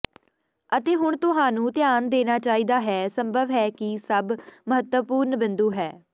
ਅਤੇ ਹੁਣ ਤੁਹਾਨੂੰ ਧਿਆਨ ਦੇਣਾ ਚਾਹੀਦਾ ਹੈ ਸੰਭਵ ਹੈ ਕਿ ਸਭ ਮਹੱਤਵਪੂਰਨ ਬਿੰਦੂ ਹੈ